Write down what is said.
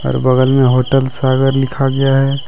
बगल में होटल सागर लिखा गया है।